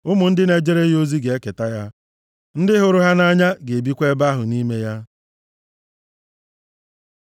Ụmụ ndị na-ejere ya ozi ga-eketa ya, ndị hụrụ aha ya nʼanya ga-ebikwa ebe ahụ nʼime ya.